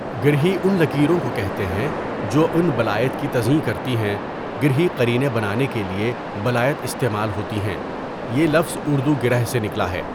گرہی ان لکیروں کو کہتے ہیں جو ان بلائط کی تزیئں کرتی ہیں گرہی قرینے بنانے کے لیے بلائط استعمال ہوتی ہیں یہ لفظ اردو گِرہ سے نکلا ہے.